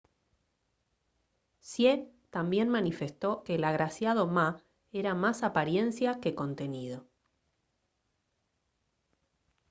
hsieh también manifestó que el agraciado ma era más apariencia que contenido